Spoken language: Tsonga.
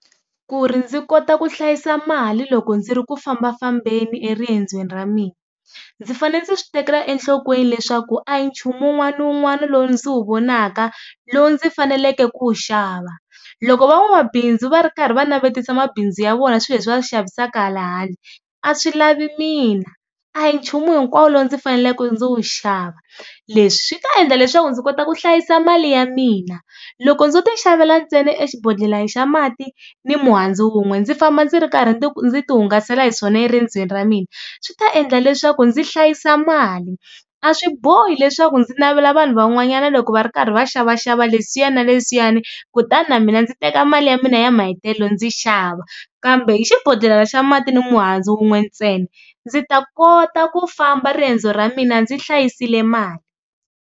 Ku ri ndzi kota ku hlayisa mali loko ndzi ri ku fambafambeni eriendzweni ra mina ndzi fane ndzi swi tekela enhlokweni leswaku a hi nchumu wun'wana ni wun'wana lowu ndzi wu vonaka lowu ndzi faneleke ku wu xava. Loko van'wabindzu va ri karhi va navetisa mabindzu ya vona swi leswi va swi xavisaka hala handle a swi lavi mina, a hi nchumu hinkwawo lo ndzi faneleke ndzi wu xava. Leswi swi ta endla leswaku ndzi kota ku hlayisa mali ya mina, loko ndzo ti xavela ntsena exibodhlelana xa mati ni muhandzu wun'we ndzi famba ndzi ri karhi ndzi ti hungasela hi swona eriendzweni ra mina swi ta endla leswaku ndzi hlayisa mali. A swi bohi leswaku ndzi navela vanhu van'wanyana loko va ri karhi va xavaxava leswiya na leswiyani kutani na mina ndzi teka mali ya mina ya mahetelelo ndzi xava. Kambe hi xibodhlelena xa mati ni muhandzu wun'we ntsena ndzi ta kota ku famba riendzo ra mina ndzi hlayisile mali.